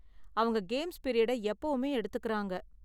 அவங்க கேம்ஸ் பிரீயடை எப்பவுமே எடுத்துக்கறாங்க.